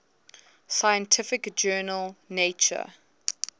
scientific journal nature